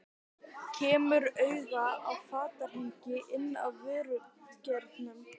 Þau voru bæði í færeyskum duggarapeysum.